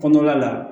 Kɔnɔna la